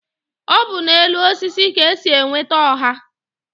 Ọ bu n'elu osisi ka-esi enweta oha